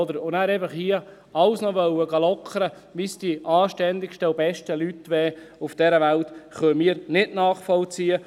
Und dann einfach hier alles noch lockern zu wollen, als wären es die anständigsten und besten Leute auf dieser Welt – das können wir nicht nachvollziehen.